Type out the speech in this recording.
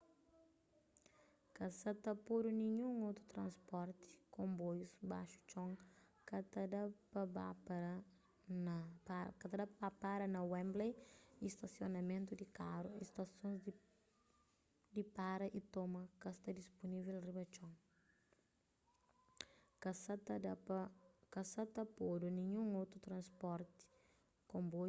ka sa ta podu ninhun otu transportiy konboius baxu txon ka ta ba para na wembley y stasionamentu di karu y stasons di para y toma ka sta dispunivel riba txon